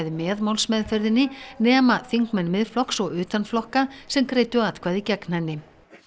með málsmeðferðinni nema þingmenn Miðflokks og utan flokka sem greiddu atkvæði gegn henni